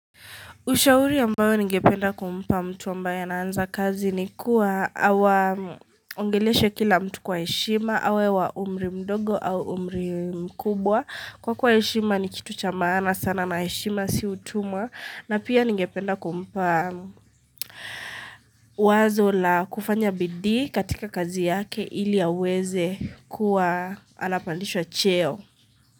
Ushauri ambayo ningependa kumpa mtu ambae anaanza kazi ni kuwa awa ongeleshe kila mtu kwa heshima, awe wa umri mdogo au umri mkubwa. Kwa kuwa heshima ni kitu cha maana sana na heshima si utumwa na pia ningependa kumpa wazo la kufanya bidii katika kazi yake ili aweze kuwa anapandishwa cheo.